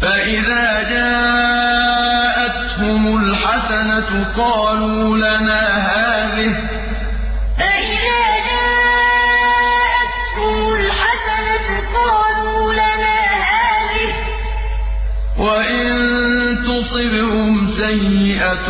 فَإِذَا جَاءَتْهُمُ الْحَسَنَةُ قَالُوا لَنَا هَٰذِهِ ۖ وَإِن تُصِبْهُمْ سَيِّئَةٌ